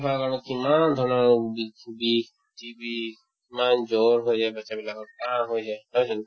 খোৱাৰ কাৰণত কিমান ধৰণৰ ৰোগীক বিষ, TB ইমান জ্বৰ হৈ যায় batches বিলাকৰ কাহ হৈ যায় নহয় জানো